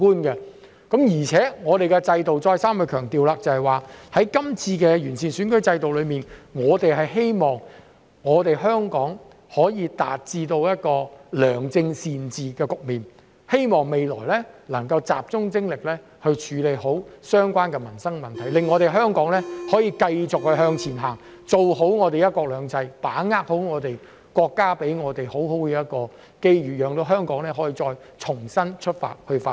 而且，我再三強調，透過這次完善選舉制度，我們希望香港可以達到良政善治的局面，未來能夠集中精力處理好相關的民生問題，讓香港可以繼續向前行，做好"一國兩制"的工作，好好把握國家給我們的機遇，讓香港再重新出發去發展。